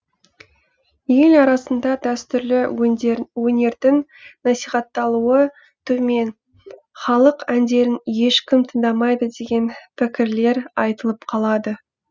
ел арасында дәстүрлі өнердің насихатталуы төмен халық әндерін ешкім тыңдамайды деген пікірлер айтылып қалады